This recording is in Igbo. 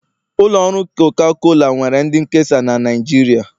Ụlọ ọrụ coca cola nwere ndị nkesa na Nijiria